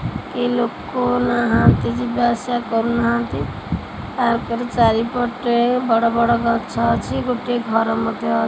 କେ ଲୋକ ନାହାଁନ୍ତି ଯିବା ଆସିବା କରୁ ନାହାଁନ୍ତି ତା ପରେ ଚାରିପଟେ ବଡ ବଡ ଗଛ ଅଛି ଗୋଟେ ଘର ମଧ୍ୟ ଅଛି।